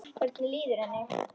Hvernig líður henni?